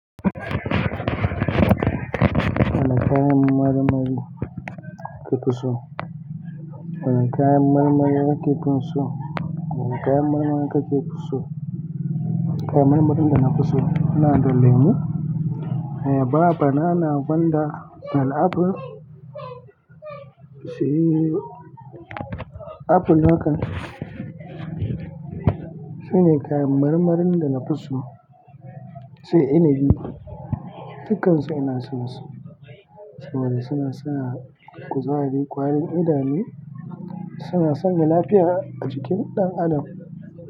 Wane kayan marmari ka fi so? Wane kayan marmari ka fi so? Wane kayan marmari ka fi so? Kayan marmarin da na fi so ina da lemu, ayaba, banana, gwanda da apple. Sai apple haka. Sune kayan marmarin da na fi so, sai inabi. Dukansu ina son su. Saboda suna sa kuzari, ƙwarin idanu, suna sanya lafiya a jikin ɗan adam.